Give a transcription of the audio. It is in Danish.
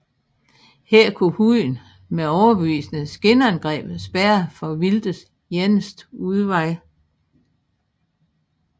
Her kunne hunden med overbevisende skinangreb spærre for vildtets eneste udvej